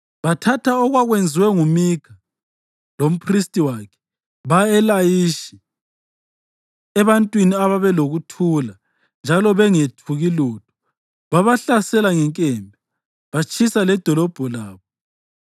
Bathatha okwakwenziwe nguMikha, lomphristi wakhe, baya eLayishi, ebantwini ababelokuthula njalo bengethuki lutho. Babahlasela ngenkemba batshisa ledolobho labo.